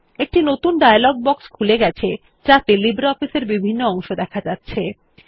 একটি নতুন dialogue box খুলে গেছে যাতে লিব্রিঅফিস এর বিভিন্ন অংশ দেখা যাচ্ছে